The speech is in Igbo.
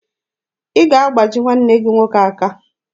Ị ga-agbaji nwanne gị nwoke aka.